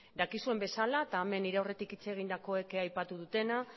dakizuen bezala eta hemen nire aurretik hitz egindakoek aipatu dutena